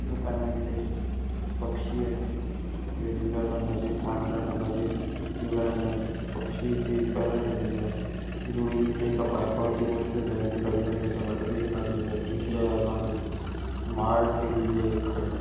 दुकान आहे इथे पक्षी आहे वेगवेगळ्या रंगाचे पांढऱ्या रंगाचे पिवळ्या रंगाचे हे पक्षी इथे विकायला ठेवलेले आहेत जोडीने ते एका पाइपावर बसलेले आहेत गुलाबी रंगाच्या वाट्या तिथे लागलेल्या आहेत पिंजऱ्यामध्ये माळ ठेवलेली आहे खाली.